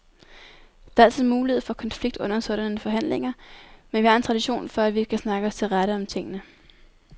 Der er altid mulighed for konflikt under sådanne forhandlinger, men vi har en tradition for, at vi kan snakke os til rette om tingene.